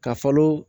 Ka falo